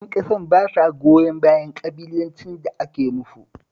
Ƴan ƙasar ba sa goyon bayan ƙabilancin da ake musu